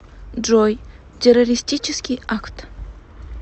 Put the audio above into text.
джой террористический акт